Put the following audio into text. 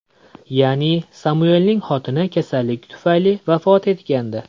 Ya’ni, Samuelning xotini kasallik tufayli vafot etgandi.